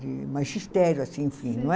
De magistério, assim, enfim, não é?